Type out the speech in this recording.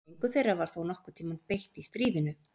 Engu þeirra var þó nokkurn tíma beitt í stríðinu.